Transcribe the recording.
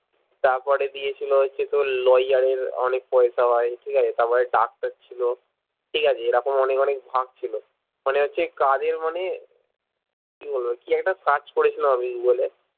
তারপরে দিয়েছিলো হচ্ছে তো তোর lawyer এর অনেক পয়সা হয় ঠিক আছে তারপরে ডাক্তার ছিলো ঠিকাছে এরকম অনেক অনেক ভাগ ছিলো মনে হচ্ছে কাজের মানে কি বলবো কি একটা search করেছিলাম আমি গুগল এ